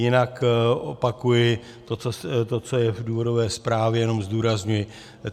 Jinak opakuji to, co je v důvodové zprávě, jenom zdůrazňuji.